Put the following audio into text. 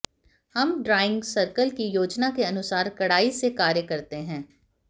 हम drawing circle की योजना के अनुसार कड़ाई से कार्य करते हैं